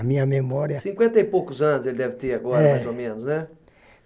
A minha memória... Cinquenta e poucos anos ele deve ter agora, mais ou menos, né? É